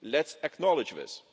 Let's acknowledge this.